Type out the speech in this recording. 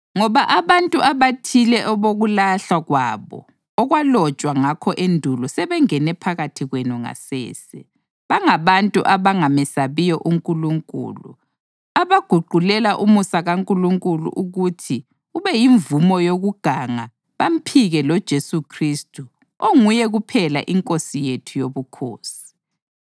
Ngoba abantu abathile abokulahlwa kwabo okwalotshwa ngakho endulo sebengene phakathi kwenu ngasese. Bangabantu abangamesabiyo uNkulunkulu abaguqulela umusa kaNkulunkulu ukuthi ubeyimvumo yokuganga bamphike loJesu Khristu onguye kuphela iNkosi yethu Yobukhosi.